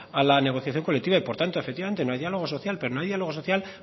a la negociación colectiva y por tanto efectivamente no hay diálogo social pero no hay diálogo social